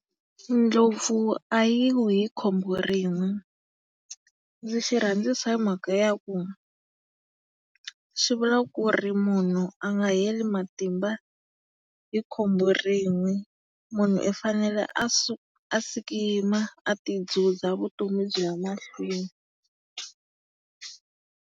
Ndlopfu a yi wi hi khombo rin'we. Ndzi xi rhandzisa hi mhaka ya ku, xi vula ku ri munhu a nga heli matimba hi khombo rin'we. Munhu i fanele a sukuyima a ti dzhudzha vutomi byi ya emahlweni.